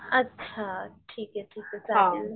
अच्छा ठीके ठीके चालेल.